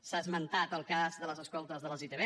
s’ha esmentat el cas de les escoltes de les itv